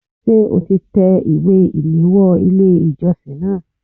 Ṣé o ti tẹ ìwé ìléwọ́ Ilé ìjọsìn náà?